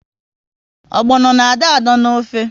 Ogbono na adọ adọ n'ofe